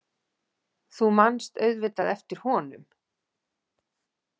Þú manst auðvitað eftir honum.